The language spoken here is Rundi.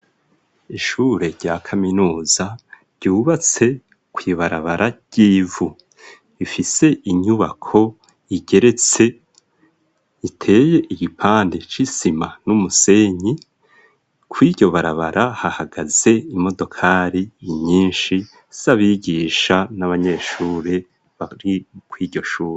Ishure rya kaminuza ryubatse kwibarabara ry'ivu ifise inyubako igeretse iteye igipande c'isima n'umusenyi ko iryo barabara hahagaze imodokali inyinshi si abigisha na maa neshure bari ko iryo shure.